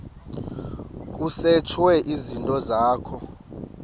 kusetshwe izinto zakho